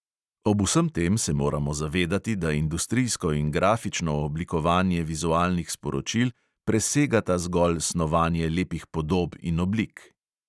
Ob vsem tem se moramo zavedati, da industrijsko in grafično oblikovanje vizualnih sporočil presegata zgolj snovanje lepih podob in oblik.